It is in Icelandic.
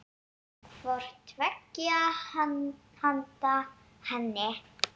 hvort tveggja handa henni.